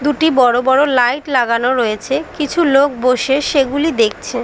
দুটি বড় বড় লাইট লাগানো রয়েছে কিছু লোক বসে সেগুলি দেখছে ।